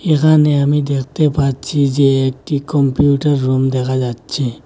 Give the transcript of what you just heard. এখানে আমি দেখতে পাচ্ছি যে একটি কম্পিউটার রুম দেখা যাচ্ছে।